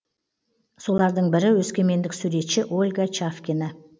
солардың бірі өскемендік суретші ольга чавкина